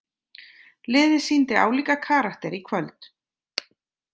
Liðið sýndi álíka karakter í kvöld.